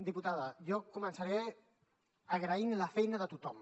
diputada jo començaré agraint la feina de tothom